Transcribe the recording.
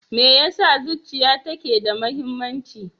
Me yasa zuciya take da muhimmanci?